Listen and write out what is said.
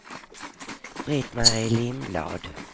Britt-Marie Lindblad